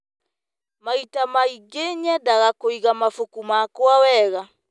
Maita maingĩ, nyendete kũiga mabuku makwa wega.